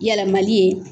Yɛlɛmali ye